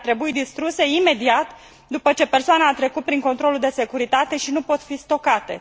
Ele ar trebui distruse imediat, după ce persoana a trecut prin controlul de securitate și nu pot fi stocate.